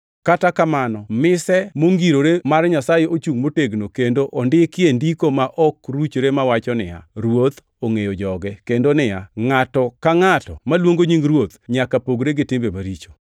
Kata kamano mise mongirore mar Nyasaye ochungʼ motegno kendo ondikie ndiko ma ok ruchre mawacho niya, “Ruoth ongʼeyo joge,” + 2:19 \+xt Kwa 16:5\+xt* kendo niya, “Ngʼato ka ngʼato maluongo nying Ruoth nyaka pogre gi timbe maricho.”